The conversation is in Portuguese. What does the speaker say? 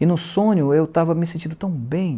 E no sonho eu estava me sentindo tão bem.